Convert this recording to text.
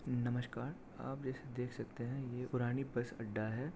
नमस्कार आप इसे देख सकते है। ये पुरानी बस अड्डा है।